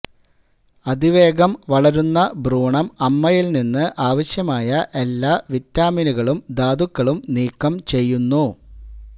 അതിവേഗം വളരുന്ന ഭ്രൂണം അമ്മയിൽ നിന്ന് ആവശ്യമായ എല്ലാ വിറ്റാമിനുകളും ധാതുക്കളും നീക്കം ചെയ്യുന്നു